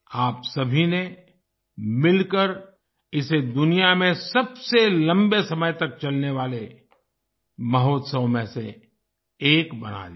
आप सभी ने मिलकर इसे दुनिया में सबसे लंबे समय तक चलने वाले महोत्सव में से एक बना दिया